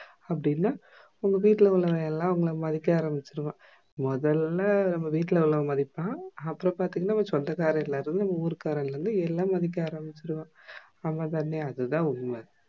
அப்டி இல்ல உங்க வீட்டுல உள்ளவையெல்லாம் உங்கள மதிக்க ஆரம்பிச்சிடுவான் மோதல்லா வீட்டுல உள்ளவன் மதிப்பான் அப்ரோ பாத்தீங்கன்னா உங்க சொந்தக்காரகங்க எல்லாம் உருகாரகளறுது எல்லாரும் எல்லாம் மதிக்க அரபிச்சிடுவான் ஆமாதானே அதுதா உண்ம